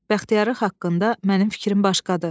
Bəxtiyarın haqqında mənim fikrim başqadır.